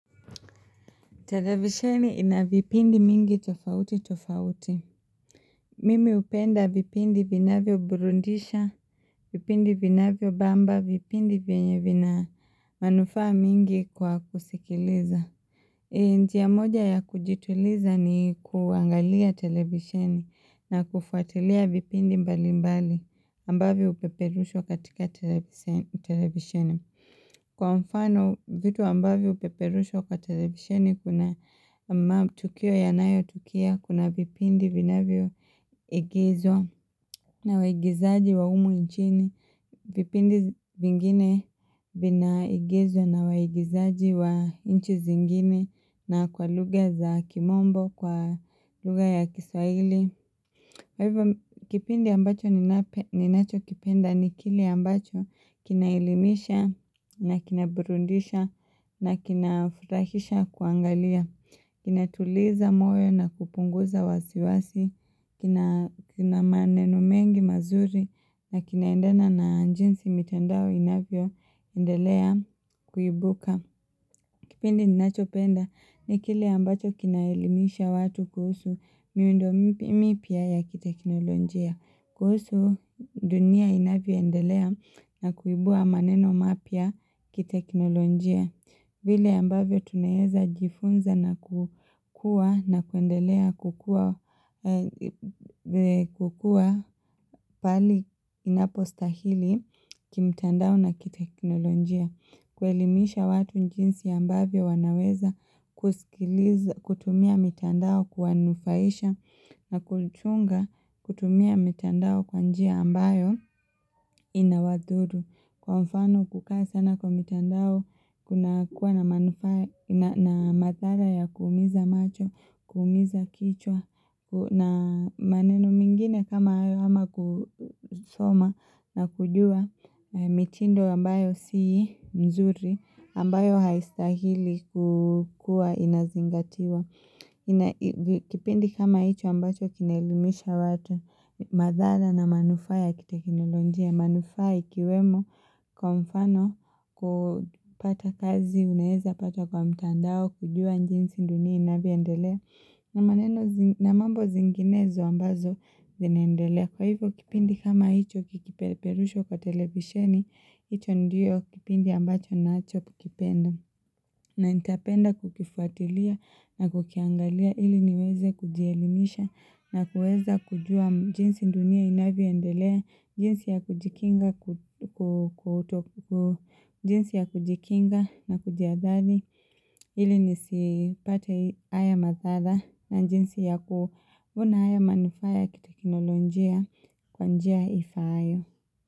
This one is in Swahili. Televisheni ina vipindi mingi tofauti tofauti. Mimi hupenda vipindi vinavyo burudisha, vipindi vinavyobamba, vipindi vienye vina manufaa mingi kwa kusikiliza. Njia moja ya kujituliza ni kuangalia televisheni na kufuatilia vipindi mbalimbali ambavyo hupeperushwa katika televisheni. Kwa mfano vitu ambavyo hupeperushwa katika televisheni kuna matukio yanayotukia kuna vipindi vinavyo igizwa na waigizaji wa humu nhini. Vipindi vingine vina igizwa na waigizaji wa nchi zingine na kwa lugha za kimombo kwa lugha ya kiswaili. Kipindi ambacho ninachokipenda ni kile ambacho kinaelimisha na kinaburudisha na kinafurahisha kuangalia. Kina tuliza moyo na kupunguza wasiwasi. Kina maneno mengi mazuri na kinaendana na jinsi mitandao inavyo endelea kuibuka. Kipindi ninachopenda ni kile ambacho kinaelimisha watu kuhusu miundo mipya ya kiteknolojia. Kuhusu dunia inavyoendelea na kuibua maneno mapia kiteknolonjia. Vile ambavyo tunaeza jifunza na kuendelea kukua pahali inapo stahili kimtandao na kiteknolonjia. Kuelimisha watu njinsi ambavyo wanaweza kutumia mitandao kuwanufaisha na kuchunga kutumia mitandao kwa njia ambayo inawadhuru. Kwa mfano kukaa sana kwa mitandao kuna kuwa na mathara ya kuumiza macho, kuumiza kichwa na maneno mengine kama hayo ama kusoma na kujua mitindo ambayo sii mzuri ambayo haistahili kukua inazingatiwa. Kipindi kama hicho ambacho kinaelimisha watu madhara na manufaa ya kiiteknolojia manufaa ikiwemo kwa mfano kupata kazi unaeza pata kwa mtandao kujua jinsi dunia inavyoendela na mambo zinginezo ambazo zinaendelea Kwa hivyo kipindi kama hicho kikipeperushwa kwa televishini hicho ndio kipindi ambacho ninachokipenda na nitapenda kukifuatilia na kukiangalia ili niweze kujielimisha na kuweza kujua jinsi dunia inavyoendelea jinsi ya kujikinga na kujihathari ili nisipate haya madhara na jinsi ya kuona haya manufaa kiteknolojia kwa njia ifaayo.